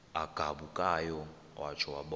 agabukayo watsho wabona